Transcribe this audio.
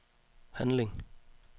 handling